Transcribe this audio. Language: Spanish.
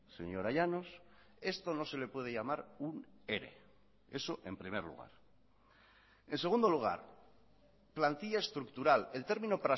señora llanos esto no se le puede llamar un ere eso en primer lugar en segundo lugar plantilla estructural el término